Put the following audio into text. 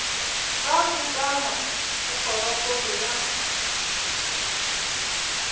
ka kukamo go kgorokgolo ya